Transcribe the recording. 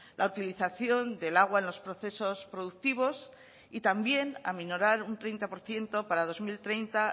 la utilización del agua en los procesos productivos y también aminorar un treinta por ciento para dos mil treinta